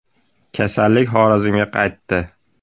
Kasallik Xorazmga qaytdi.